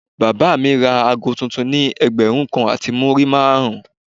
Bàbá mi ra ago tuntun ni ẹgbẹ̀rún kan àti múrí márùn-ún.